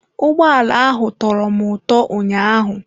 Ụgbọ ala ahụ tọrọ m ụtọ ụnyaahụ.